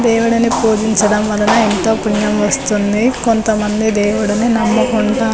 దేవిడిని పూజించడం వలన ఎంతో పుణ్యం వస్తుంది కొంతమంది దేవిడిని నమ్ముకుంటా --